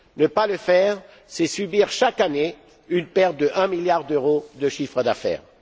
Ne pas le faire, c'est s'exposer chaque année à une perte d'un milliard d'euros de chiffre d'affaires.